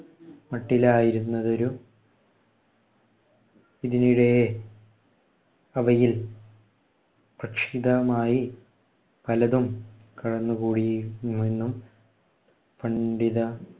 മട്ടിലായിരുന്നതൊരു അവയിൽ പക്ഷിതമായി പലതും കടന്നുകൂടി എന്നും പണ്ഡിത